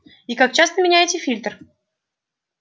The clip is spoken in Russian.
и как часто меняете фильтр